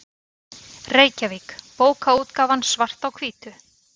Reykjavík: Bókaútgáfan Svart á hvítu.